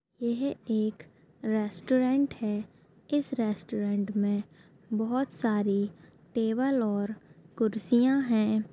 यह एक रेस्टोरेंट है इस रेस्टोरेंट मे बहुत सारी टेबल और कुर्सियाँ है।